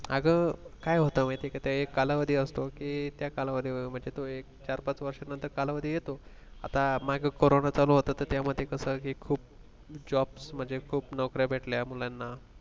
अगं काय होतं माहिती आहे का तो एक कालावधी असतो कि त्या कालावधीमध्ये मनजे तो एक चार-पाच वर्षानंतर कालावधी येतो आता मागे कोरोना चालु होता तर त्यामध्ये खूप jobs म्हणजे खूप नोकऱ्या भेटल्या मुलांना